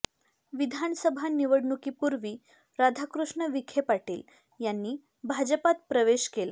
विधानसभा निवडणुकीपूर्वी राधाकृष्ण विखे पाटील यांनी भाजपात प्रवेश केला